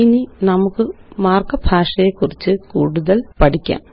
ഇനി നമുക്ക് മാര്ക്കപ്പ് ഭാഷയെക്കുറിച്ച് കൂടുതല് പഠിക്കാം